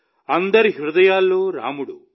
అందరి హృదయాల్లో రాముడు